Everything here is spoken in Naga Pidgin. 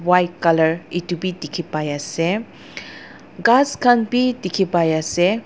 white colour edu bi dikhipaiase ghas khan bi dikhipaiase.